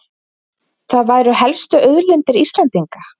Það væru helstu auðlindir Íslendinga